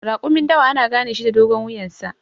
Raƙumin dawa ana ganeshi da dogon wuyansa.